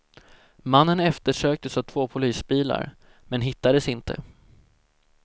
Mannen eftersöktes av två polisbilar, men hittades inte.